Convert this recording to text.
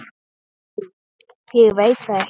Æ, ég veit það ekki.